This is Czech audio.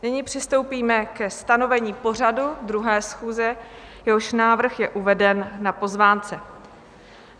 Nyní přistoupíme ke stanovení pořadu 2. schůze, jehož návrh je uveden na pozvánce.